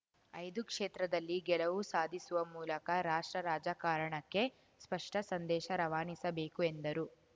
ಐದು ಕ್ಷೇತ್ರದಲ್ಲಿ ಗೆಲುವು ಸಾಧಿಸುವ ಮೂಲಕ ರಾಷ್ಟ್ರ ರಾಜಕಾರಣಕ್ಕೆ ಸ್ಪಷ್ಟಸಂದೇಶ ರವಾನಿಸಬೇಕು ಎಂದರು